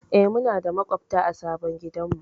E, muna da maƙwabta a sabon gidanmu.